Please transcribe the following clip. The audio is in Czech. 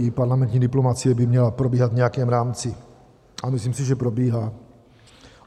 I parlamentní diplomacie by měla probíhat v nějakém rámci a myslím si, že probíhá.